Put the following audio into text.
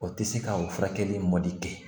O tɛ se ka o furakɛli mɔdi kɛ